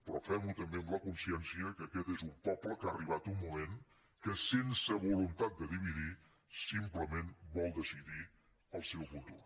però fem ho també amb la consciència que aquest és un poble que ha arribat un moment que sense voluntat de dividir simplement vol decidir el seu futur